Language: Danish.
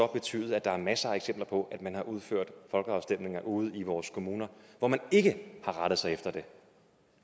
betyde at der er masser af eksempler på at man har udført folkeafstemninger ude i vores kommuner hvor man ikke har rettet sig efter det